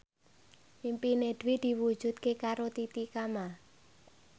impine Dwi diwujudke karo Titi Kamal